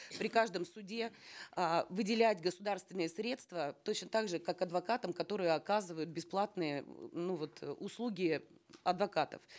при каждом суде э выделять государственные средства точно так же как адвокатам которые оказывают бесплатные ну вот услуги адвокатов